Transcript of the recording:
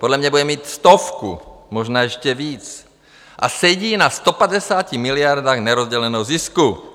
Podle mě bude mít stovku, možná ještě víc, a sedí na 150 miliardách nerozděleného zisku.